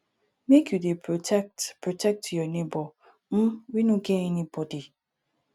make you dey protect protect your nebor um wey no get anybodi